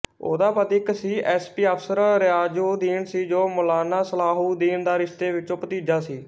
ਉਹਦਾ ਪਤੀ ਇੱਕ ਸੀਐੱਸਪੀ ਅਫ਼ਸਰ ਰਿਆਜ਼ਉੱਦੀਨ ਸੀ ਜੋ ਮੌਲਾਨਾ ਸਲਾਹਉੱਦੀਨ ਦਾ ਰਿਸ਼ਤੇ ਵਿਚੋਂ ਭਤੀਜਾ ਸੀ